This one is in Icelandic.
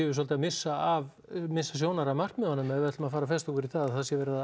svolítið að missa af missa sjónar af markmiðunum ef við ætlum að festa okkur í það að það sé verið að